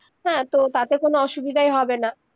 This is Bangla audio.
হ্যাঁ তো তাতে কোনো অসুবিধাই হবেনা